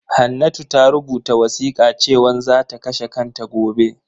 Hannatu ta rubuta wasiƙa cewan zaka kashe kanta gobe